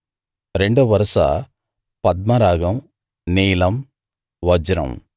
రెండో వరస పద్మరాగం నీలం వజ్రం